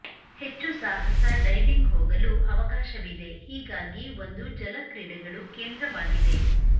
ಹೆಚ್ಚು ಸಾಹಸ ಡೈವಿಂಗ್ ಹೋಗಲು ಅವಕಾಶವಿದೆ ಹೀಗಾಗಿ ಒಂದು ಜಲ ಕ್ರೀಡೆಗಳು ಕೇಂದ್ರವಾಗಿದೆ